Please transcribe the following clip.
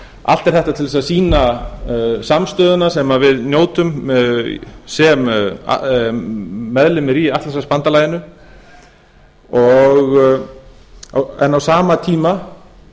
allt er þetta til þess að sýna samstöðuna sem við njótum sem meðlimir í atlantshafsbandalaginu en á sama tíma